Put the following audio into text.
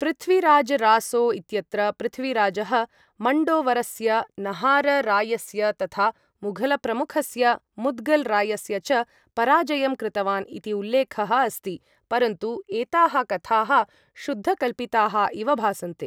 पृथ्वीराज रासो इत्यत्र पृथ्वीराजः मण्डोवरस्य नाहररायस्य तथा मुघलप्रमुखस्य मुद्गल रायस्य च पराजयं कृतवान् इति उल्लेखः अस्ति, परन्तु एताः कथाः शुद्धकल्पिताः इव भासन्ते।